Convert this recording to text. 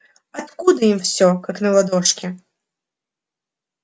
откуда им всё как на ладошке